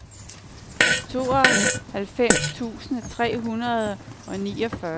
tooghalvfems tusind tre hundrede og niogfyrre